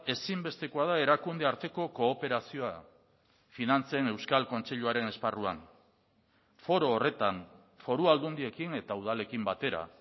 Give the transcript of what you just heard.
ezinbestekoa da erakunde arteko kooperazioa finantzen euskal kontseiluaren esparruan foro horretan foru aldundiekin eta udalekin batera